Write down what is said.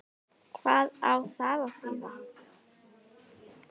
Hvað á það að þýða?